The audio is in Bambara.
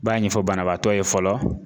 B'a ɲɛfɔ banabaatɔ ye fɔlɔ